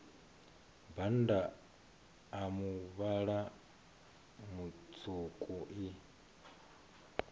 bannda a muvhala mutswuku i